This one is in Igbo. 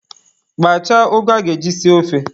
Kpachaa ụgụ a ga-eji sie ofe.